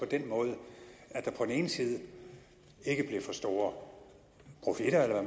den måde at der på den ene side ikke blev for store profitter eller